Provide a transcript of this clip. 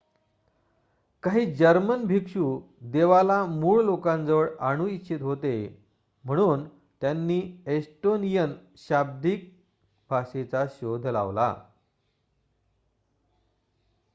काही जर्मन भिक्षू देवाला मूळ लोकांजवळ आणू इच्छित होते म्हणून त्यांनी एस्टोनियन शाब्दिक भाषेचा शोध लावला